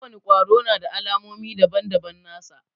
Ko wani kwaro na da alamomi daban-daban nasa.